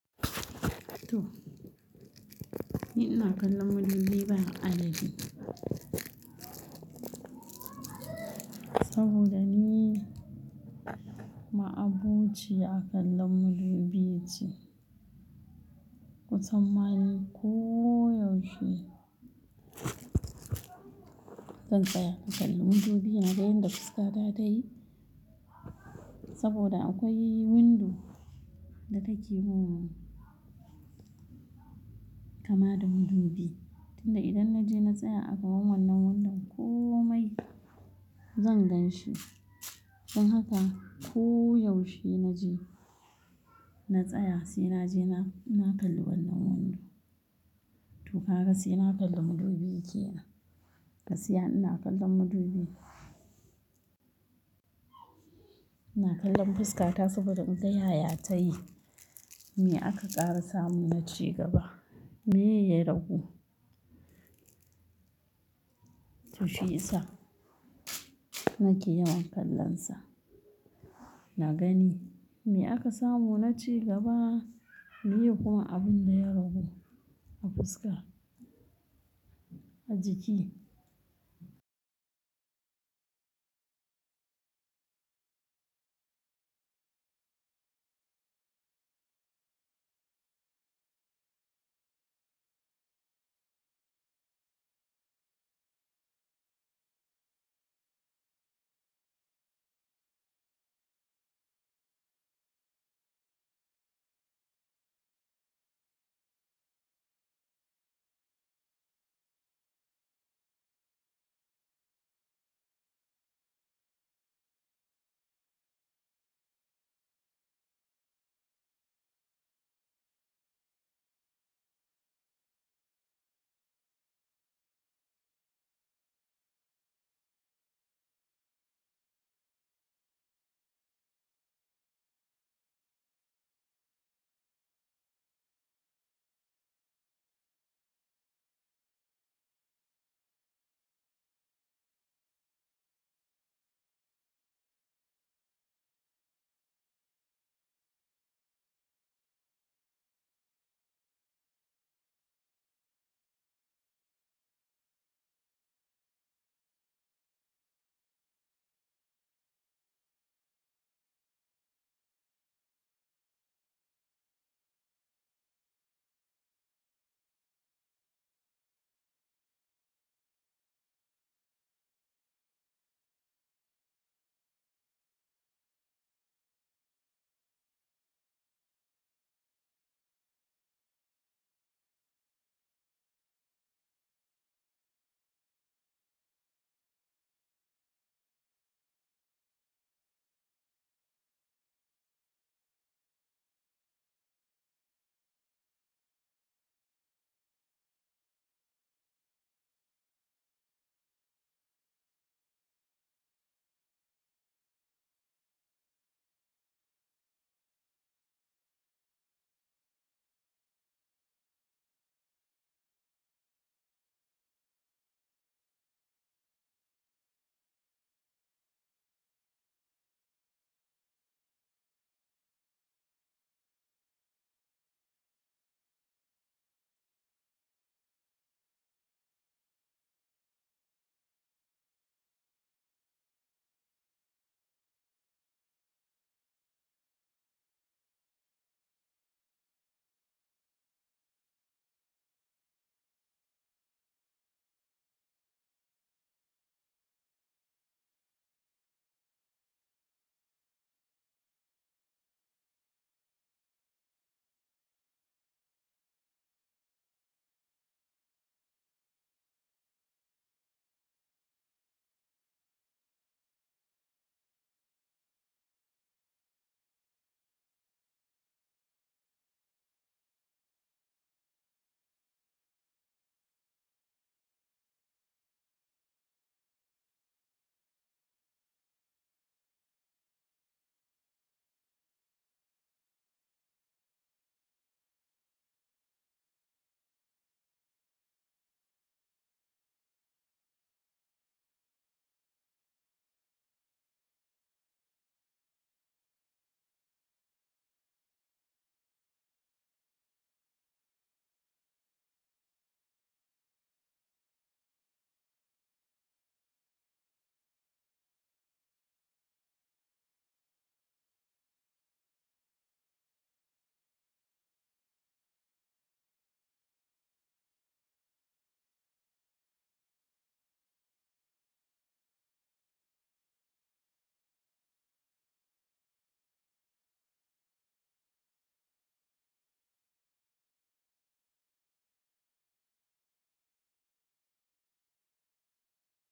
To ni ina kallon madubi ba adadi. Saboda ni ma'abociya kallon madubi ce. Kusan ma ni ko yaushe zan tsaya in kalli madubi, naga yanda fuskata ta yi saboda akwai windo da ta ke gun kama da madubi. Tun da idan na je na tsaya a gaban wannan windon komai zan gan shi. Don haka ko yaushe na je na tsaya sai naje na na kalli wannan windo. To kaga sai na kalli madubi kenan. Gaskiya ina kallon madubi. Ina kallon fuskata saboda inga yaya ta yi. Me aka ƙara samu na ci gaba, meye ya ragu? To shi i sa nake yawan kallonsa. Na gani me aka samu na ci gaba, meye kuma abin da ya ragu a fuska, a jiki.